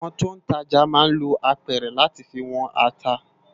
Awòn tó n tàjá má n ló ápèrè làtí fi wòn àtá